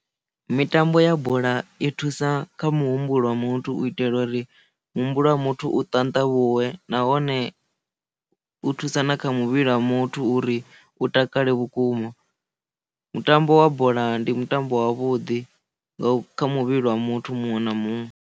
Mitambo ya bola i thusa kha muhumbulo wa muthu u itela uri muhumbulo wa muthu u ṱanḓavhuwe nahone u thusa na kha muvhili wa muthu uri u takale vhukuma mutambo wa bola ndi mutambo wa vhuḓi nga kha muvhili wa muthu muṅwe na muṅwe.